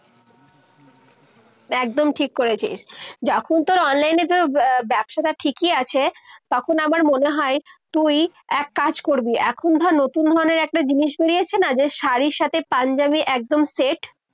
একদম ঠিক করেছিস। যখন তোর online এ ব্য~ব্যবসাটা ঠিকই আছে তখন আমার মনে হয় তুই কাজ করবি। এখন ধর নতুন ধরণের একটা জিনিস বেরিয়েছে না যে শাড়ির সাথে পাঞ্জাবির একদম সেট